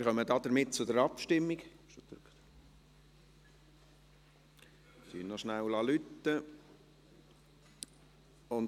Wir kommen damit zur Abstimmung und lassen noch rasch läuten.